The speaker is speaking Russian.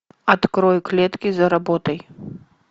открой клетки заработай